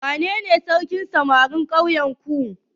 Wanene sarkin samarin ƙauyenku?